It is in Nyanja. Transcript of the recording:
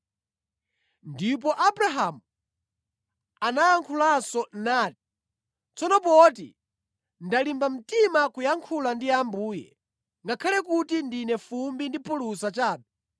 Ndipo Abrahamu anayankhulanso nati, “Tsono poti ndalimba mtima kuyankhula ndi Ambuye, ngakhale kuti ndine fumbi ndi phulusa chabe,